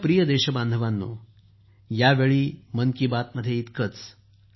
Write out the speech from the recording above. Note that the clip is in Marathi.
माझ्या प्रिय देशबांधवांनो यावेळी मन की बात मध्ये इतकेच